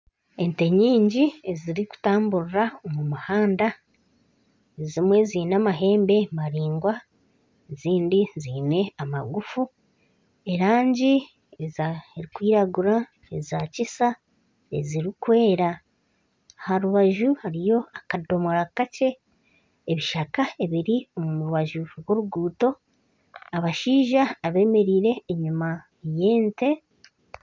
Ente nyingi ezirikutamburira omu muhanda, ezimwe ziine amahembe mariangwa, ezindi ziine amagufu erangi erikwiragura eza kisa ezirikwera aha rubaju hariyo akadomora kakye, ebishaka ebiri omu rubaju rw'oruguuto, abashaija abeemereire enyima y'ente